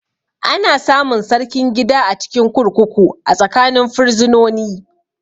Ana samun Sarkin gida a cikin kurkuku a tsakanin firizinoni